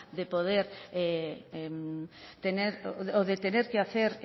de poder tener o de tener que hacer